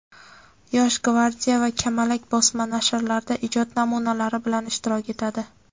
"Yosh gvardiya" va "Kamalak" bosma nashrlarida ijod namunalari bilan ishtirok etadi.